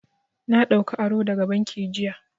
Na ɗauka aro daga banki jiya.